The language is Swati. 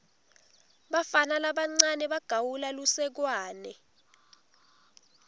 bafana labancane bagawula lusekwane